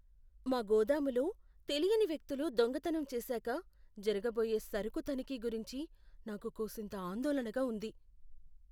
మా గోదాములో తెలియని వ్యక్తులు దొంగతనం చేశాకా జరగబోయే సరుకు తనిఖీ గురించి నాకు కూసింత ఆందోళనగా ఉంది.